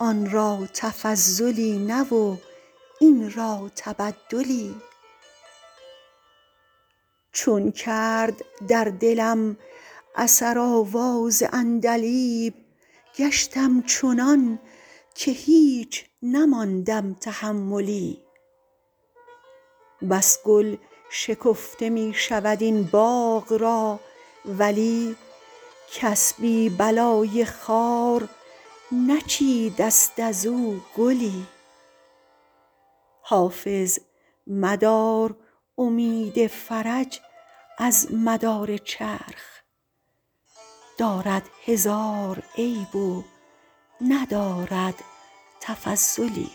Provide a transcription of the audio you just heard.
آن را تفضلی نه و این را تبدلی چون کرد در دلم اثر آواز عندلیب گشتم چنان که هیچ نماندم تحملی بس گل شکفته می شود این باغ را ولی کس بی بلای خار نچیده ست از او گلی حافظ مدار امید فرج از مدار چرخ دارد هزار عیب و ندارد تفضلی